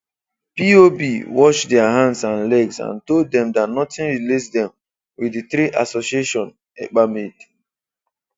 POB washed their hands and legs and told them that nothing relates them with the three association Ekpa made.